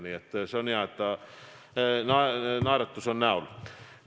Nii et see on hea, et tal on naeratus näol.